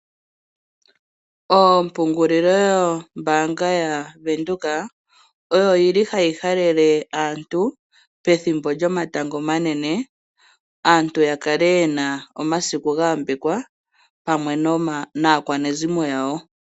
Ompungulilombaanga yaVenduka oyo yili hayi halele aantu pethimbo lyomatango omanene, aantu ya kale ye na omasiku gayambekwa pamwe naakwanezimo yawo.